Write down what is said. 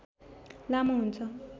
लामो हुन्छ